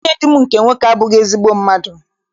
Nwanne di m nke nwoke abụghị ezigbo mmadụ.